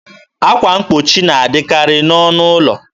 akwa mgbochi na adịkarị n'ọnụ ụlọ.